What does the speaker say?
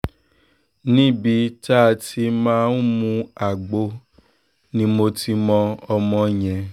níbi tá a ti máa ń mú agbo ni mo ti mọ ọmọ yẹn